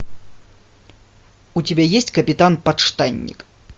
у тебя есть капитан подштанник